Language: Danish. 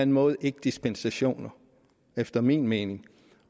måde ikke dispensationer efter min mening